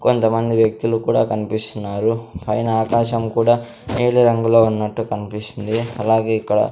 కొంతమంది వ్యక్తులు కూడా కన్పిస్తున్నారు పైన ఆకాశం కూడా నీలి రంగులో ఉన్నట్టు కన్పిస్తుంది అలాగే ఇక్కడ--